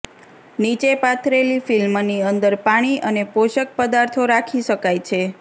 નીચે પાથરેલી ફિલ્મની અંદર પાણી અને પોષક પદાર્થો રાખી શકાય છે